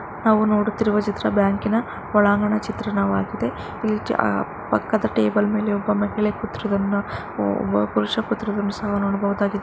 ನಾವು ನೋಡುತ್ತಿರುವ ಬ್ಯಾಂಕಿನ ಹೊರಾಂಗಣ ಚಿತ್ರಣವಾಗಿದೆ ಈ ಕೆ ಪಕ್ಕದ ಟೇಬಲ್ ನಲ್ಲಿ ಒಬ್ಬಳ ಮಹಿಳೆ ಕುತಿರು ಒಬ್ಬ ಪುರುಷ ಕುತಿರು ಸಹ ನೋಡಬಹುದಾಗಿದೆ --